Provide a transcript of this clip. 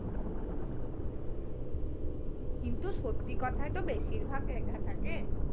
কিন্তু সত্যি কথাই তো বেশিরভাগ লেখা থাকে।